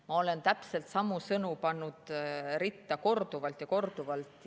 Ma olen täpselt samu sõnu pannud ritta korduvalt ja korduvalt.